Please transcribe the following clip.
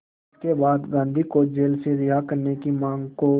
इसके बाद गांधी को जेल से रिहा करने की मांग को